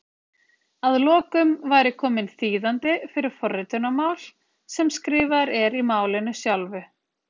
Að lokum væri kominn þýðandi fyrir forritunarmál sem skrifaður er í málinu sjálfu!